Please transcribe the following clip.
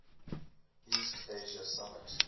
east asia summit